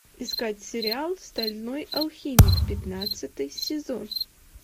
искать сериал стальной алхимик пятнадцатый сезон